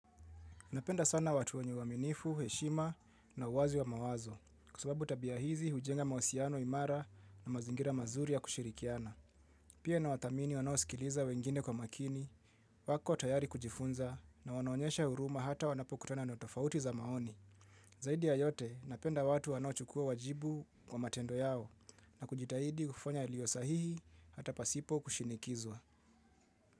Napenda sana watu wanye waminifu, heshima na uwazi wa mawazo kusababu tabia hizi hujenga mawasiano, imara na mazingira mazuri ya kushirikiana. Pia na watamini wanao sikiliza wengine kwa makini, wako tayari kujifunza na wanoonyesha huruma hata wanapo kutana na tofauti za maoni. Zaidi ya yote napenda watu wanao chukua wajibu kwa matendo yao na kujitahidi kufanya ilio sahihi hata pasipo kushinikizwa.